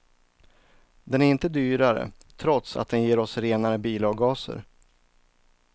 Den är inte dyrare, trots att den ger oss renare bilavgaser.